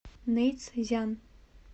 нэйцзян